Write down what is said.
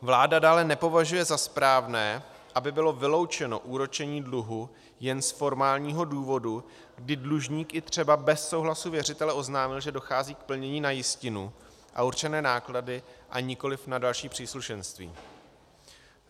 Vláda dále nepovažuje za správné, aby bylo vyloučeno úročení dluhu jen z formálního důvodu, kdy dlužník i třeba bez souhlasu věřitele oznámil, že dochází k plnění na jistinu a určené náklady a nikoliv na další příslušenství.